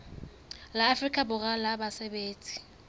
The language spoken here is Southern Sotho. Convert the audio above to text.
la afrika borwa la basebetsi